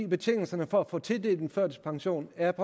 betingelserne for at få tildelt førtidspension er